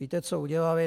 Víte, co udělali?